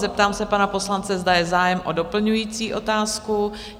Zeptám se pana poslance, zda je zájem o doplňující otázku?